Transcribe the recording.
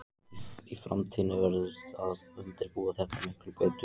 Í framtíðinni verður að undirbúa þetta miklu betur.